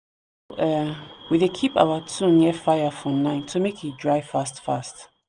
um we dey keep our tool near fire for night so make e dry fast fast